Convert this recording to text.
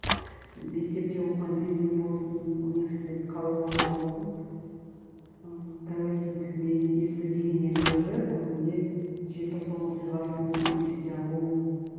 мектепте оқыған кезден болсын университет қабырғасында болсын ыыы тәуелсіздік мерекесі дегеннен гөрі көбіне желтоқсан оқиғасын еске алу